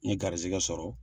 N ye garizigɛ sɔrɔ